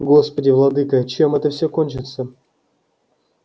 господи владыко чем это все кончится